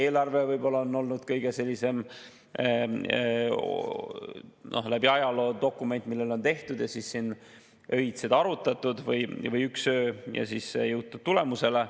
Eelarve on võib-olla läbi ajaloo olnud selline dokument, mille puhul on seda tehtud, seda on arutatud öid või üks öö ja siis on jõutud tulemusele.